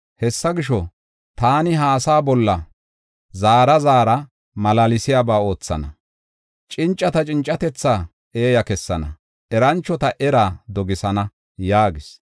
Hessa gisho, taani ha asaa bolla zaara zaara malaalsiyaba oothana. Cincata cincatethaa eeya kessana; eranchota eraa dogisana” yaagis.